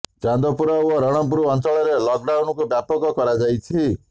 ଚାନ୍ଦପୁର ଓ ରଣପୁର ଅଂଚଳରେ ଲକ୍ଡାଉନ୍ କୁ ବ୍ୟାପକ କରାଯାଇଅଛି